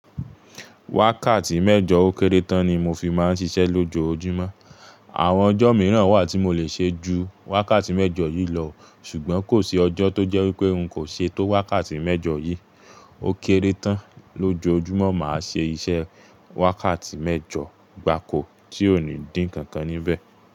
Wákàtí mẹ́jọ ó kéré tán ni mo fi máa ń ṣiṣẹ́ lójoojúmọ́. Àwọn ọjọ́ mìíràn wà tí mo lè ṣe ju wákàtí mẹ́jọ yìí lọ, ṣùgbọ́n kò sí ọjọ́ tó jẹ́ wípé n kò ṣe tó wákàtí mẹ́jọ yìí. Ó kéré tán lójoojúmọ́ màá ṣe iṣẹ́ wákàtí mẹ́jọ, gbáko tí ò ní dín nkankan níbẹ̀